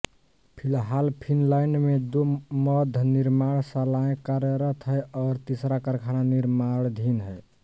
फिलहाल फिनलैंड में दो मद्यनिर्माणशालाएं कार्यरत हैं और तीसरा कारखाना निर्माणाधीन है